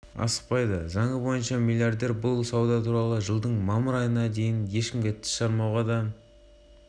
дональд трамп биыл шілде айында республикалық партия атынан сайлауға түсіп жатқанда түрлі компаниялардағы өзіне тиесілі